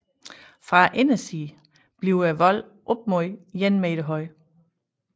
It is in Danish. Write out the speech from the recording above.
Fra indersiden bliver volden op mod 1 meter høj